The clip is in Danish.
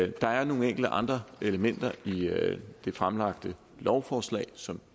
der er nogle enkelte andre elementer i det fremlagte lovforslag som